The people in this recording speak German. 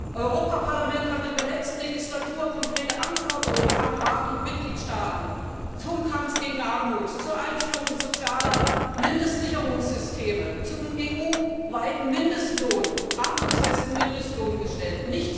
Das Europäische Parlament hat in der letzten Wahlperiode konkrete Anforderungen an Rat und Mitgliedstaaten zum Kampf gegen Armut, zur Einführung sozialer Mindestsicherungssysteme, zum EU weiten armutsfesten Mindestlohn gestellt.